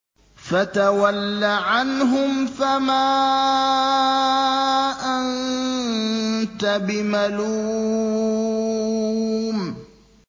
فَتَوَلَّ عَنْهُمْ فَمَا أَنتَ بِمَلُومٍ